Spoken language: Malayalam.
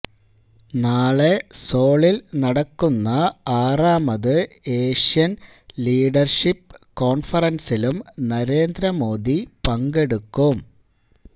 നാളെ സോളില് നടക്കുന്ന ആറാമത് ഏഷ്യന് ലീഡര്ഷിപ്പ് കോണ്ഫറന്സിലും നരേന്ദ്ര മോദി പങ്കെടുക്കും